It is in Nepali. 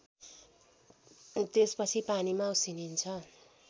त्यसपछि पानीमा उसिनिन्छ